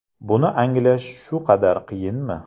Buni anglash shu qadar qiyinmi?